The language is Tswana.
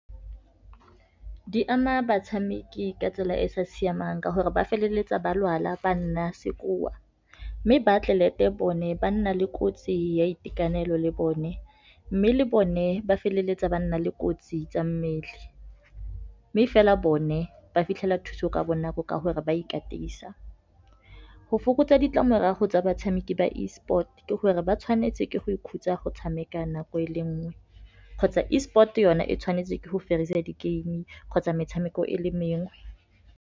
Di ama batshameki ka tsela e e sa siamang ka gore ba feleletsa ba lwala ba nna sekoa, mme ba atlelete bone, ba nna le kotsi ya itekanelo le bone. Mme le bone ba feleletsa ba nna le kotsi tsa mmele, mme fela bone ba fitlhela thuso ka bonako ka gore ba ikatisa. Go fokotsa ditlamorago tsa batshameki ba E sport, ke gore ba tshwanetse ke go ikhutsa go tshameka nako e le nngwe, kgotsa E sport yona e tshwanetse ke go fedisa di-game kgotsa metshameko e le mengwe.